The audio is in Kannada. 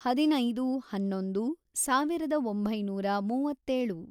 ಹದಿನೈದು, ಹನ್ನೊಂದು, ಸಾವಿರದ ಒಂಬೈನೂರ ಮೂವತ್ತೇಳು